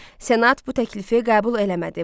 Senat bu təklifi qəbul eləmədi.